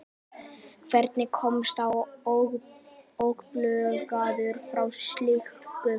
Hvernig komst hann óbugaður frá slíku?